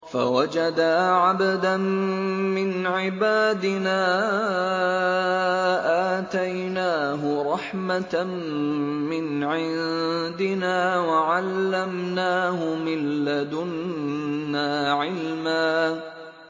فَوَجَدَا عَبْدًا مِّنْ عِبَادِنَا آتَيْنَاهُ رَحْمَةً مِّنْ عِندِنَا وَعَلَّمْنَاهُ مِن لَّدُنَّا عِلْمًا